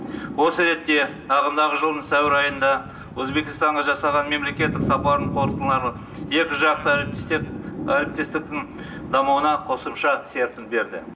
осы ретте ағымдағы жылдың сәуір айында өзбекстанға жасаған мемлекеттік сапарының қорытындылары екі жақты әріптестіктің дамуына қосымша серпін берді